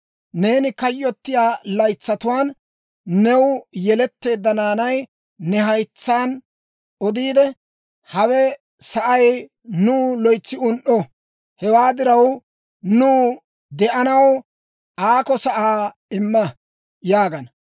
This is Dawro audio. Neeni kayyottiyaa laytsatuwaan new yeletteedda naanay ne haytsaan odiidde, ‹Hawe sa'ay nuw loytsi un"o; hewaa diraw, nuw de'anaw aakko sa'aa imma› yaagana.